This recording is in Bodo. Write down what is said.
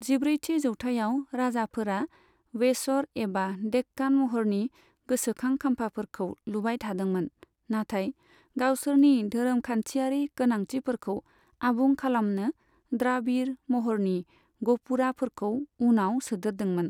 जिब्रैथि जौथाइयाव, राजाफोरा वेसर एबा देक्कान महरनि गोसोखां खाम्फाफोरखौ लुबाय थादोंमोन, नाथाय गावसोरनि धोरोमखान्थियारि गोनांथिफोरखौ आबुं खालामनो द्राबिड़ महरनि गपुराफोरखौ उनाव सोदेरदोंमोन।